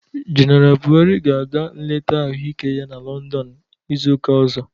Jeneral Bụharị ga-aga nleta ahụ ike ya na Lọndọn n'ịzụka ọzọ